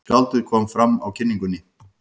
Skáldið kom fram á kynningunni.